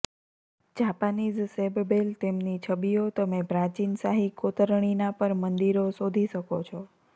Japanese શેબબેલ તેમની છબીઓ તમે પ્રાચીન શાહી કોતરણીના પર મંદિરો શોધી શકો છો